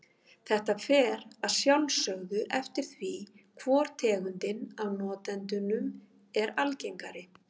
Þetta fer að sjálfsögðu eftir því hvor tegundin af notendunum er algengari.